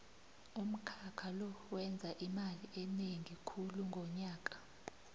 umkhakha lo wenza imali enengi khulu ngonyaka